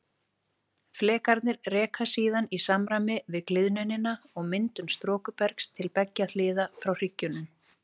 Flekarnir reka síðan í samræmi við gliðnunina og myndun storkubergs til beggja hliða frá hryggjunum.